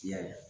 Y'a ye